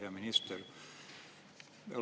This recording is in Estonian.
Hea minister!